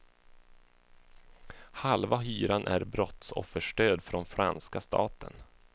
Halva hyran är brottsofferstöd från franska staten.